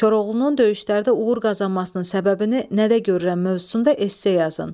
Koroğlunun döyüşlərdə uğur qazanmasının səbəbini nədə görürəm mövzusunda esse yazın.